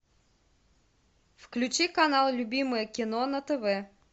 включи канал любимое кино на тв